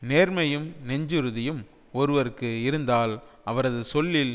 நேர்மையும் நெஞ்சுறுதியும் ஒருவர்க்கு இருந்தால் அவரது சொல்லில்